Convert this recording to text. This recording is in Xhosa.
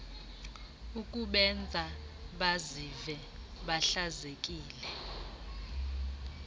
ukubenza bazive behlazekile